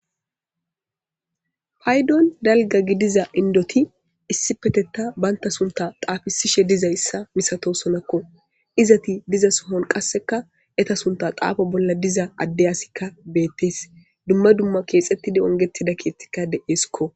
paydon dalga gidiza indoti issi petetta baynta sunta xaafisishe dizayssa misato sonakko izati diza sohon qasseka eta sunta xaafo bolla diza adde asikka beettes dumma dumma keexettide ongetida kiettikka de7eeskko